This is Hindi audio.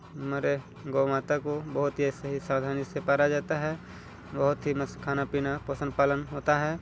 मेरे गऊ माता को बोहोत ही सही सावधानी से पारा जाता है बोहोत ही मस्त खाना पीना पोसन पालन होता हैं।